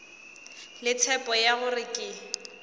le tshepo ya gore ke